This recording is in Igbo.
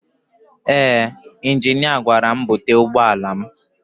Ee injinia gwara m búte ụgbọala m.